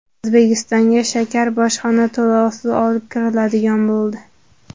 O‘zbekistonga shakar bojxona to‘lovisiz olib kiriladigan bo‘ldi .